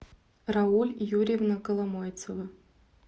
рауль юрьевна коломойцева